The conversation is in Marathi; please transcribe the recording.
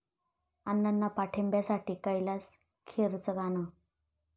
अण्णांना पाठिंब्यासाठी कैलास खेरचं गाणं